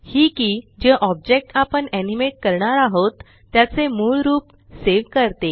हि के जे ऑब्जेक्ट आपण एनिमेट करणार आहोत त्याचे मूळ रूप सेव करते